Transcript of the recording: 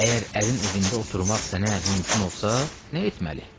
Əgər ərin evində oturmaq sənə mümkün olsa, nə etməli?